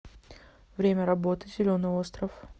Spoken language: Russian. время работы зеленый остров